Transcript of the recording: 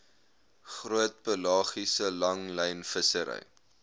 groot pelagiese langlynvissery